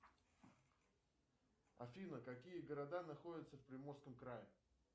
афина какие города находятся в приморском крае